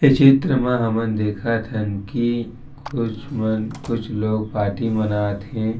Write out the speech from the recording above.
ये चित्र मा हमन देखत हन की कुछ मन कुछ लोग पार्टी मनात हे।